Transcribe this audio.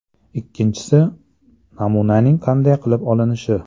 Ikkinchisi, namunaning qanday qilib olinishi.